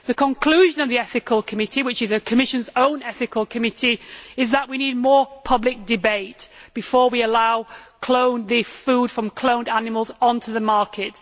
The conclusion of that ethical committee which is the Commission's own ethical committee is that we need more public debate before we allow food from cloned animals onto the market.